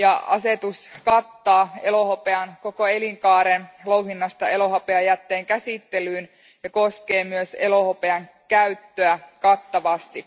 Asetus kattaa elohopean koko elinkaaren louhinnasta elohopeajätteen käsittelyyn ja koskee myös elohopean käyttöä kattavasti.